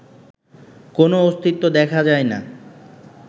কোনো অস্তিত্ব দেখা যায় না